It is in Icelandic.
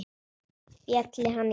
Félli hann í kramið hér?